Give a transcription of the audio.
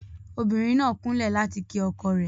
obìnrin nà kunlẹ láti kí ọkọ rẹ.